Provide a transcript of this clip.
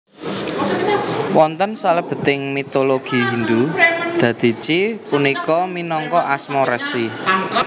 Wonten salebeting mitologi Hindu Dadici punika minangka asma resi